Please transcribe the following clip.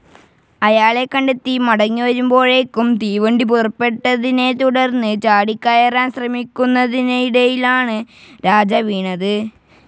അയാളെ കണ്ടെത്തി മടങ്ങിവരുമ്പോഴേയ്ക്കും തീവണ്ടി പുറപ്പെട്ടതിനെത്തുടർന്ന് ചാടിക്കയറാൻ ശ്രമിയ്ക്കുന്നതിനിടയിലാണ് രാജ വീണത്.